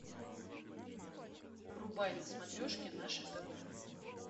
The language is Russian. врубай на смотрешке наше тв